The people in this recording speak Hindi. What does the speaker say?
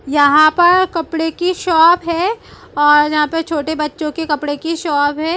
यहाँ पर कपड़े की शॉप है और यहाँ पे छोटे बच्चो के कपड़े की शॉप है।